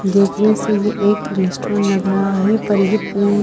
देखने से ये एक रेस्टोरेंट लग रहा है पर ये पूल --